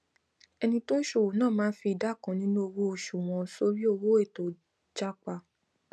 ẹni tó n ṣọ owó ná máa n fi ìdá kan nínú owó oṣù wọn sọrí owó ètò jápá